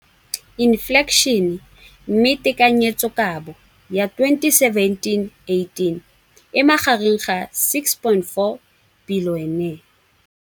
Infleišene, mme tekanyetsokabo ya 2017, 18, e magareng ga R6.4 bilione.